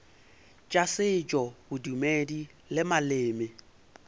tša setšo bodumedi le maleme